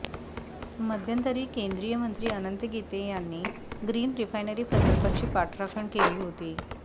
मध्यंतरी केंद्रीय मंत्री अनंत गीते यांनी ग्रीन रिफायनरी प्रकल्पाची पाठराखण केली होती